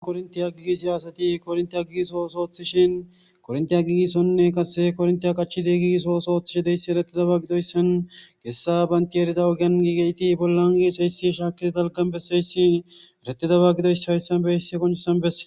korintiya gigisi asati korinti agigiso soothishin kornti agigisonne qase kornti a qachide giiso osooththishe deyssi eretidaba gidoyssan geessa bantiyerida ogian giigeyti bollan gi s eysi shaaki talgambeseysi eretidaba gidoysse hayssan beisse koncisan besse.